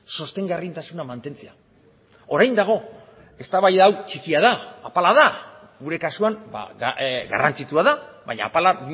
sostengarritasuna mantentzea orain dago eztabaida hau txikia da apala da gure kasuan garrantzitsua da baina apala